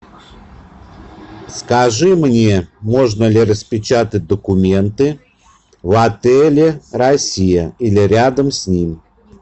скажи мне можно ли распечатать документы в отеле россия или рядом с ним